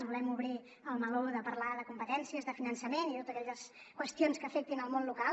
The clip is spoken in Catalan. volem obrir el meló de parlar de competències de finançament i de totes aquelles qüestions que afectin el món local